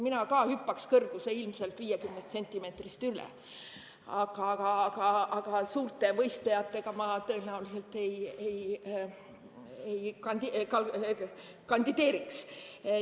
Mina ka hüppaks ilmselt 50-sentimeetrisest kõrgusest üle, aga suurte võistlejatega ma tõenäoliselt ei konkureeriks.